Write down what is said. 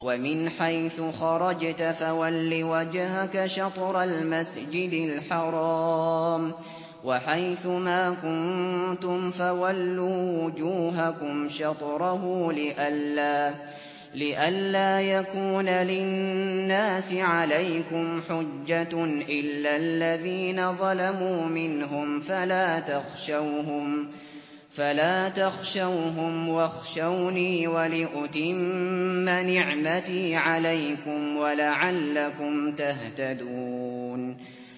وَمِنْ حَيْثُ خَرَجْتَ فَوَلِّ وَجْهَكَ شَطْرَ الْمَسْجِدِ الْحَرَامِ ۚ وَحَيْثُ مَا كُنتُمْ فَوَلُّوا وُجُوهَكُمْ شَطْرَهُ لِئَلَّا يَكُونَ لِلنَّاسِ عَلَيْكُمْ حُجَّةٌ إِلَّا الَّذِينَ ظَلَمُوا مِنْهُمْ فَلَا تَخْشَوْهُمْ وَاخْشَوْنِي وَلِأُتِمَّ نِعْمَتِي عَلَيْكُمْ وَلَعَلَّكُمْ تَهْتَدُونَ